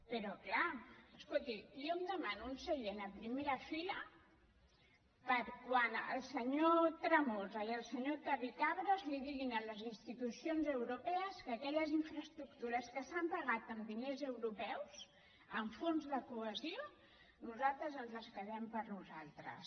però és clar escolti jo em demano un seient a primera fila per a quan el senyor tremosa i el senyor terricabras diguin a les institucions europees que aquelles infraestructures que s’han pagat amb diners europeus amb fons de cohesió nosaltres ens les quedem per a nosaltres